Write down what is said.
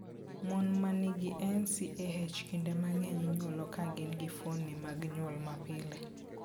Mon man gi NCAH kinde mang'eny inyuolo ka gin gi fuondni mag nyuol mapile.